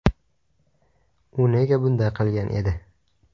U nega bunday qilgan edi?